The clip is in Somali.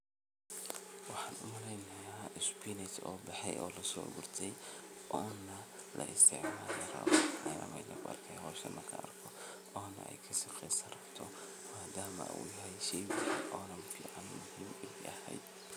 Waxan umaleynaya spinach oo baxey oo lasoogurtey oo na laisticmali rabo ayan meshan kuarkaya howshan markaan arko ona ey kasiqesarato madama uu yahay shey fican.